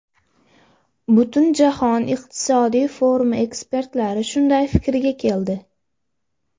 Butunjahon iqtisodiy forumi ekspertlari shunday fikrga keldi .